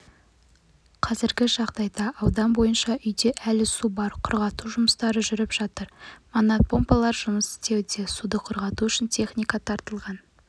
қазіргі жағдайда аудан бойынша үйде әлі су бар құрғату жұмыстары жүріп жатыр мотопомпалар жұмыс істеуде суды құрғату үшін техника тартылған